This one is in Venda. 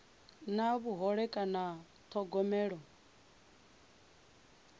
na vhuhole kana u thogomelwa